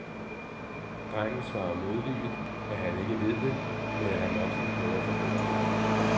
Drengen svarer modvilligt, at han ikke ved det, men at han nok skal prøve at forbedre sig.